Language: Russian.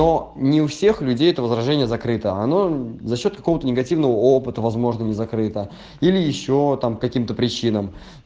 но не у всех людей это возражение закрыто оно за счёт какого-то негативного опыта возможно не закрыто или ещё там каким-то причинам